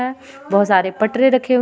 ए बहुत सारे पटरे रखे हुए है --